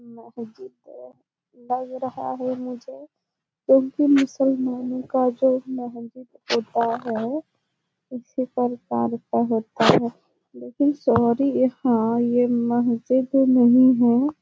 मस्जिद लग रहा है मुझे जो की मुसलमानो का जो होता है उसी पर होता है लेकिन सॉरी यहाँ ये मस्जिद नही है ।